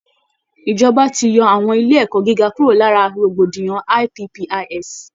Ìjọba ti yọ àwọn ilé ẹ̀kọ́ gíga kúrò lára rògbòdìyàn IPPIS